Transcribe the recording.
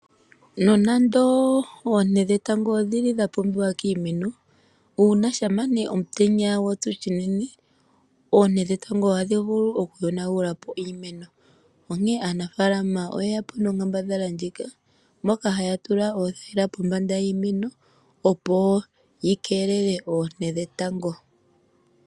Nonando oonte dhetango odhili dhapumbiwa kiimeno, uuna shampa ne omutenya gwatsu shinene, oonte dhetango ohadhi vulu okuyonagula po iimeno onkee aanafaalama oyeya po nonkambadhala ndjika moka haya tula othayila pombanda yiimeno opo yikelele oonte dhetango.